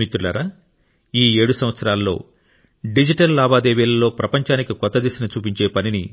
మిత్రులారా ఈ 7 సంవత్సరాలలో డిజిటల్ లావాదేవీలలో ప్రపంచానికి కొత్త దిశను చూపించే పనిని